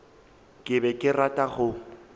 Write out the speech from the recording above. ke be ke rata go